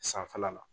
Sanfɛla la